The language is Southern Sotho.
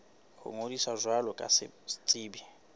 ho ngodisa jwalo ka setsebi